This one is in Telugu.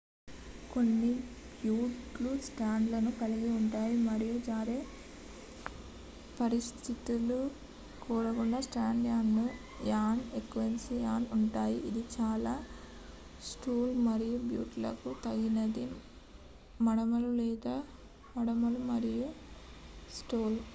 కొన్ని బూట్ లు స్టడ్ లను కలిగి ఉంటాయి మరియు జారే పరిస్థితులు కొరకు studded add on equipment ఉంటుంది ఇది చాలా షూలు మరియు బూట్ లకు తగినది మడమలు లేదా మడమలు మరియు సోల్